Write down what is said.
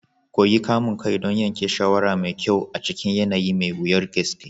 Koyi kamun kai don yanke shawara mai kyau a cikin yanayi mai wuyar gaske.